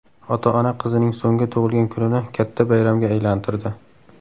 Ota-ona qizining so‘nggi tug‘ilgan kunini katta bayramga aylantirdi.